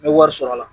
N bɛ wari sɔrɔ a la